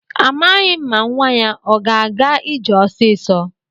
Amaghị m ma nwa ya o ga-aga ije ọsịsọ.